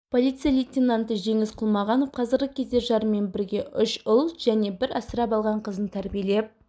полиция лейтенанты жеңіс құлмағанов қазіргі кезде жарымен бірге үш ұл және бір асырап алған қызын тәрбиелеп